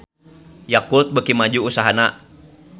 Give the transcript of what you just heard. Yakult beuki maju usahana